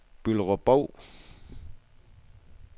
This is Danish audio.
Bylderup-Bov